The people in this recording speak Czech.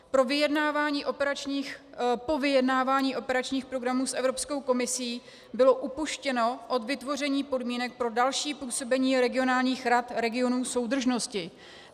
Po vyjednávání operačních programů s Evropskou komisí bylo upuštěno od vytvoření podmínek pro další působení regionálních rad regionů soudržnosti.